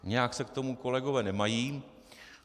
Nějak se k tomu kolegové nemají.